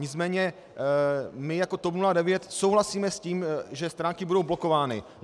Nicméně my jako TOP 09 souhlasíme s tím, že stránky budou blokovány.